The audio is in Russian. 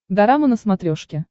дорама на смотрешке